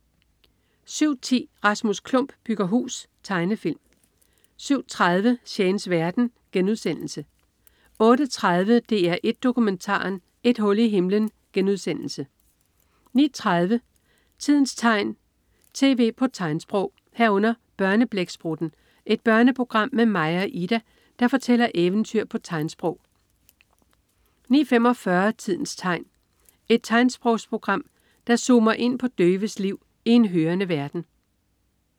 07.10 Rasmus Klump bygger hus. Tegnefilm 07.30 Shanes verden* 08.30 DR1 Dokumentaren. Et hul i himlen* 09.30 Tidens tegn, tv på tegnsprog 09.30 Børneblæksprutten. Et børneprogram med Maja og Ida, der fortæller eventyr på tegnsprog 09.45 Tidens tegn. Et tegnsprogsprogram, der zoomer ind på døves liv i en hørende verden